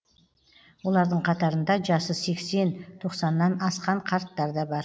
олардың қатарында жасы сексен тоқсаннан асқан қарттар да бар